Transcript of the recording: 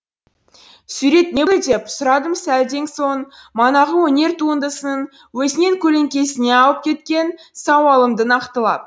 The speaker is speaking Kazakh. сурет не болды деп сұрадым сәлден соң манағы өнер туындысының өзінен көлеңкесіне ауып кеткен сауалымды нақтылап